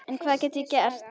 En hvað get ég gert?